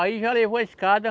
Aí já levou a escada.